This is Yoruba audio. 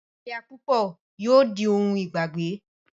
ìláya púpọ̀ yóò di ohun ìgbàgbé.